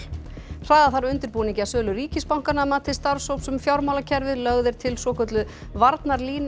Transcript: hraða þarf undirbúningi að sölu ríkisbankanna að mati starfshóps um fjármálakerfið lögð er til svokölluð varnarlína á